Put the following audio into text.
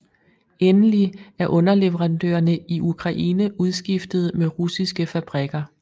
Endelig er underleverandørerne i Ukraine udskiftet med russiske fabrikker